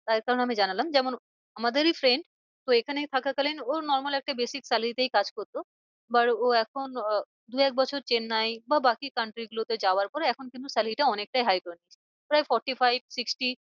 তার কারণ আমি জানালাম যেমন আমাদেরই friend তো এখানে থাকা কালিন ওর normal একটা basic salary তেই কাজ করতো but ও এখন দু এক বছর চেন্নাই বা বাকি country গুলোতে যাওয়ার পরে এখন কিন্তু salary টা অনেকটাই high প্রায় forty five sixty